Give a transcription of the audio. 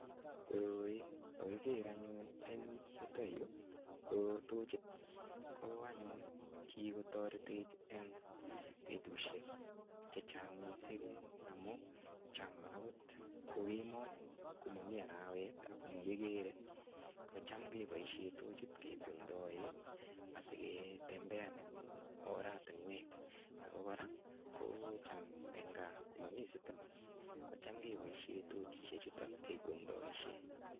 Koroi kakiker anyun eng yuto yu ko tochit. Ko anyun kigotoretech eng betusiek che chang mising amu cham agot ko kemoi komami arawet agomakigere kocham keboisien tochit kikwengdoe asigetembean oratinwek ago kora ko cham eng kaa komami sitima kocham keboisie tochisiechuto kikwengdoe.